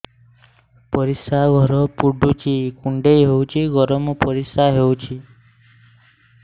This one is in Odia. ପରିସ୍ରା ଘର ପୁଡୁଚି କୁଣ୍ଡେଇ ହଉଚି ଗରମ ପରିସ୍ରା ହଉଚି